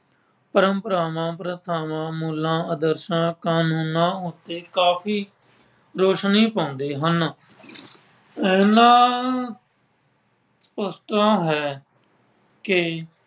ਪਰੰਪਰਾਵਾਂ, ਪ੍ਰਸਥਾਵਾਂ, ਮੁੱਲਾਂ, ਆਦਰਸ਼ਾਂ, ਕਾਨੂੰਨਾਂ ਉੱਤੇ ਕਾਫੀ ਰੌਸ਼ਨੀ ਪਾਉਂਦੇ ਹਨ। ਇਹਨਾਂ ਤਾਂ ਹੈ ਕਿ